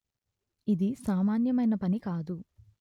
ఇది సామాన్యమైన పని కాదు